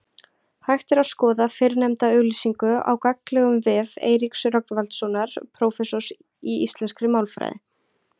Hægt er skoða fyrrnefnda auglýsingu á gagnlegum vef Eiríks Rögnvaldssonar prófessors í íslenskri málfræði.